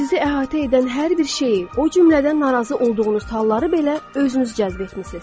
Sizi əhatə edən hər bir şeyi, o cümlədən narazı olduğunuz halları belə özünüz cəzb etmisiniz.